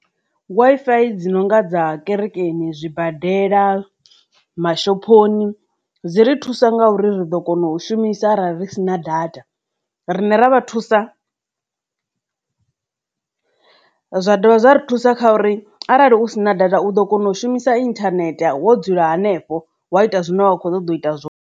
Wifi dzi nonga dza kerekeni, zwibadela, mashophoni dzi ri thusa nga uri ri ḓo kona u shumisa ara ri si na data riṋe ra vhathu usa zwa dovha zwa ri thusa kha uri arali u sina data u ḓo kona u shumisa internet wo dzula henefho wa ita zwine wa kho ṱoḓa u ita zwo.